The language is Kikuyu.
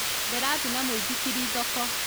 Ndĩrathi na mũithikiri thoko